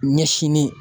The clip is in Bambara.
Ɲɛsinni